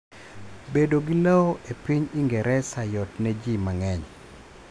Bedo gi lowo epiny Ingereza yot ne ji mang'eny.